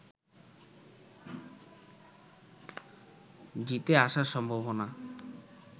জিতে আসার সম্ভাবনা